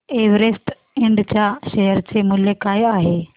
Everest Ind च्या share चे मूल्य काय आहे